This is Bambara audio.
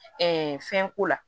fɛnko la